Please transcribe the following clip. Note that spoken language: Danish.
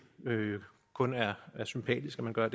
kun er er sympatisk at man gør